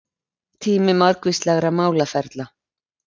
Tími margvíslegra málaferla